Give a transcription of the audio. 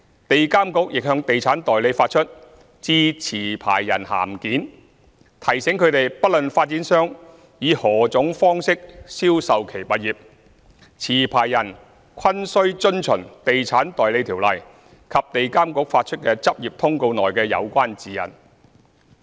地監局亦向地產代理發出"致持牌人函件"，提醒他們不論發展商以何種方式銷售其物業，持牌人均須遵循《地產代理條例》及地監局發出的執業通告內的有關指引。